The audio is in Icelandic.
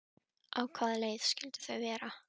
Á hvaða leið skyldu þau vera?